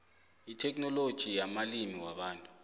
itheknoloji yamalimi wabantu